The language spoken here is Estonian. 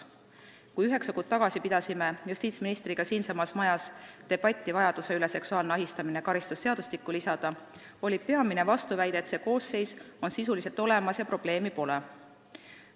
Kui üheksa kuud tagasi pidasime justiitsministriga siinsamas majas debatti vajaduse üle seksuaalne ahistamine karistusseadustikku lisada, oli peamine vastuväide, et see koosseis on sisuliselt olemas ja probleemi pole.